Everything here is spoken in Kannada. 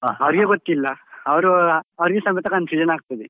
ಅವ್ರಿಗೆ ಗೊತ್ತಿಲ್ಲ ಅವ್ರು ಅವ್ರಿಗೆ ಸಮೇತ confusion ಆಗ್ತದೆ.